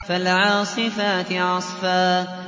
فَالْعَاصِفَاتِ عَصْفًا